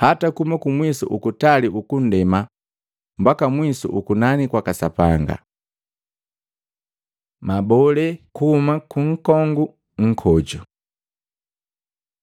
Hata kuhuma kumwisu ukutali ukundema mbaka mwisu ukunani kwaka Sapanga. Mabole kuhuma ku nkongu nkoju Matei 24:32-35; Luka 21:29-33